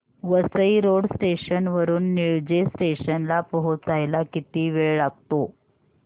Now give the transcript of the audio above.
Vasai road station वरून Nilje station ला पोहचायला किती वेळ लागतो